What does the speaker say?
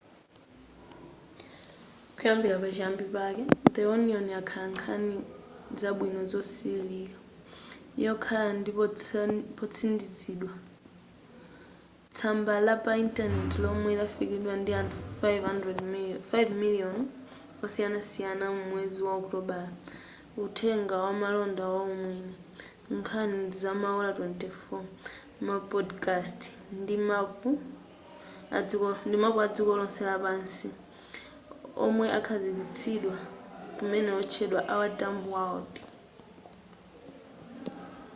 kuyambira pa chiyambi pake the onion yakhala nkhani zabwino zosililika yokhala ndi potsindikizidwa tsamba la pa intaneti lomwe lidafikiridwa ndi anthu 5,000,000 osiyanasiyana mu mwezi wa okutobala uthenga wamalonda waumwini nkhani zamaola 24 ma podcast ndi mapu adziko lonse lapansi omwe akhazikitsidwa kumene otchedwa our dumb world